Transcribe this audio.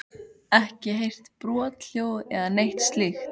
Ekki heyrt brothljóð eða neitt slíkt?